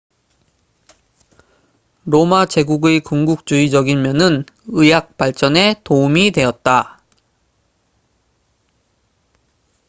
로마 제국의 군국주의적인 면은 의학 발전에 도움이 되었다